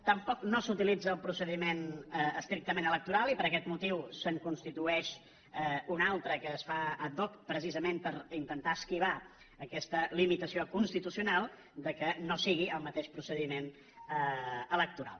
tampoc no s’utilitza el procediment estrictament electoral i per aquest motiu se’n constitueix un altre que es fa ad hoclimitació constitucional que no sigui el mateix procediment electoral